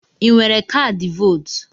I nwere kaadị vootu?